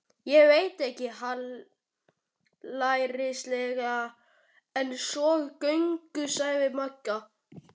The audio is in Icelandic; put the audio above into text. Ég veit ekkert hallærislegra en svona göngur, sagði Magga.